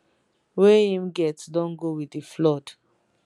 wey im get don go wit di flood